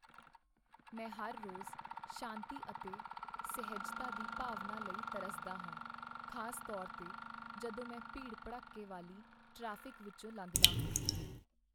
ਮੈਂ ਹਰ ਰੋਜ਼ ਸ਼ਾਂਤੀ ਅਤੇ ਸਹਿਜਤਾ ਦੀ ਭਾਵਨਾ ਲਈ ਤਰਸਦਾ ਹਾਂ, ਖ਼ਾਸ ਤੌਰ 'ਤੇ ਜਦੋਂ ਮੈਂ ਭੀੜ ਭੜੱਕੇ ਵਾਲੀ ਟ੍ਰੈਫਿਕ ਵਿੱਚੋਂ ਲੰਘਦਾ ਹਾਂ